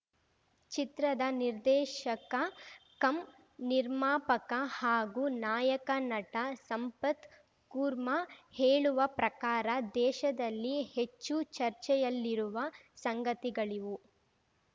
ಚಿತ್ರದ ನಿರ್ದೇಶಕ ಕಮ್‌ ನಿರ್ಮಾಪಕ ಹಾಗೂ ನಾಯಕ ನಟ ಸಂಪತ್‌ ಕುರ್ಮಾ ಹೇಳುವ ಪ್ರಕಾರ ದೇಶದಲ್ಲಿ ಹೆಚ್ಚು ಚರ್ಚೆಯಲ್ಲಿರುವ ಸಂಗತಿಗಳಿವು